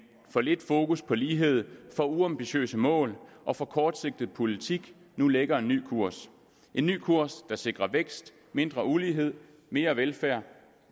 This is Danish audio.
for lidt fokus på lighed for uambitiøse mål og for kortsigtet politik nu lægger en ny kurs en ny kurs der sikrer vækst mindre ulighed mere velfærd